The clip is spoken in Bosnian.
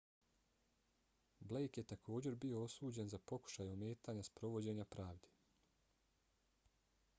blake je također bio osuđen za pokušaj ometanja sprovođenja pravde